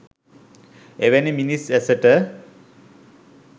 එවැනි මිනිස් ඇසට